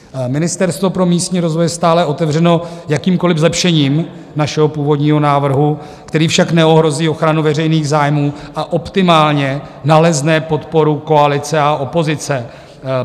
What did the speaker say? Ministerstvo pro místní rozvoj je stále otevřeno jakýmkoliv zlepšením našeho původního návrhu, který však neohrozí ochranu veřejných zájmů a optimálně nalezne podporu koalice a opozice.